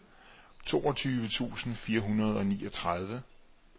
toogtyve tusind fire hundrede og niogtredive